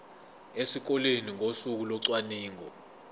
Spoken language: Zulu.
esikoleni ngosuku locwaningo